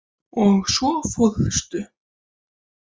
Og svo fórstu.